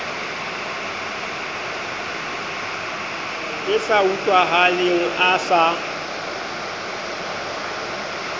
le sa utlwahaleng a sa